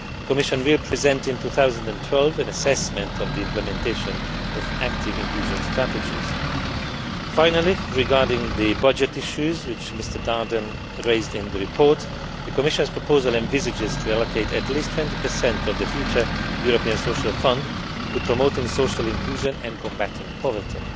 The Commission will present in 2012 an assessment of the implementation of active inclusion strategies. Finally, regarding the budget issues which Mr Daerden raised in the report, the Commission's proposal envisages allocating at least 20 of the future European Social Fund to promoting social inclusion and combating poverty.